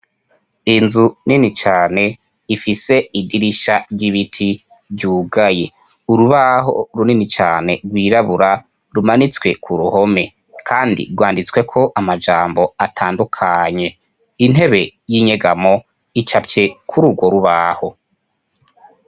Inzu nini cane ifise idirisha ry'ibiti ryugaye; Urubaho runini cane rwirabura rumanitswe ku ruhome, kandi rwanditsweko amajambo atandukanye. Intebe y'inyegamo icapfye kuri urwo rubaho.